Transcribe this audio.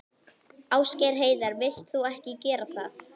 Ásgeir Heiðar: Vilt þú ekki gera það?